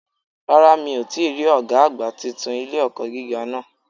Rárá mi ò tíì rí Ọ̀gá àgbà titun ilé-ẹ̀kọ́ gíga náà